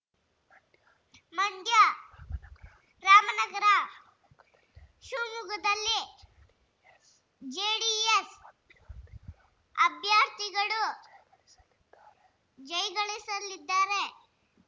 ಮಂಡ್ಯ ರಾಮನಗರ ಶಿವಮೊಗ್ಗದಲ್ಲಿ ಜೆಡಿಎಸ್‌ ಅಭ್ಯರ್ಥಿಗಳು ಜೈ ಗಳಿಸಾಲಿದ್ದಾರೆ